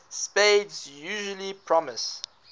spades usually promises